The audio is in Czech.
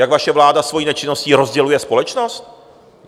Jak vaše vláda svojí nečinnosti rozděluje společnost?